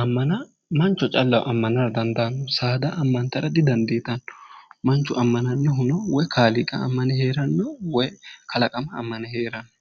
ammana mancho callaho ammana dandaanno saada ammantara didandiitanno manchu ammanannohuno woy kaaliiqa ammane heeranno woyi kalaqama ammane heeranno